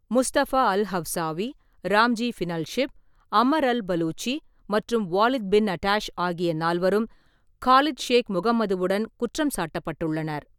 Mustafa al-Hawsawi, Ramzi Binalshibh, Ammar al-Baluchi மற்றும் Walid bin Attash ஆகிய நால்வரும் காலித் ஷேக் முகமதுவுடன் குற்றம் சாட்டப்பட்டுள்ளனர்.